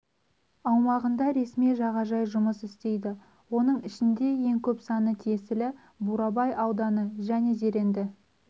аумағында ресми жағажай жұмыс істейді оның ішінде ең көп саны тиесілі бурабай ауданы және зеренді